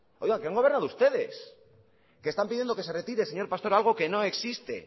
que han gobernado ustedes que están pidiendo que se retire señor pastor algo que no existe